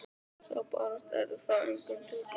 Sú barátta yrði þó engum til góðs.